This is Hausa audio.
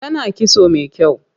Tana kitso mai kyau.